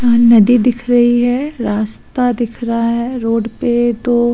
नदी दिख रही है। रास्ता दिख रहा है। रोड पे तो --